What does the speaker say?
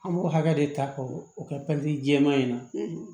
An b'o hakɛ de ta k'o o kɛ jɛman in na